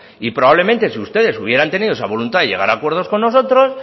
y probablemente si ustedes sí hubieran tenido voluntad de llegar a acuerdos con nosotros